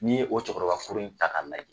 N'i ye o cɛkɔrɔba kuru in ta k'a lajɛ